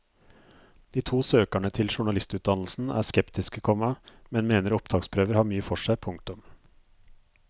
De to søkerne til journalistutdannelsen er skeptiske, komma men mener opptaksprøver har mye for seg. punktum